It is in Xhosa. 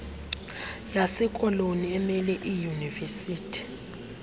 yasekoloni emele iidyunivesithi